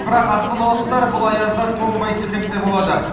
бірақ астаналықтар бұл аязда тоңбайды десек те болады